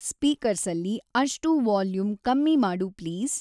ಸ್ಪೀಕರ್ಸಲ್ಲಿ ಅಷ್ಟೂ ವಾಲ್ಯೂಮ್‌ ಕಮ್ಮಿ ಮಾಡು ಪ್ಲೀಸ್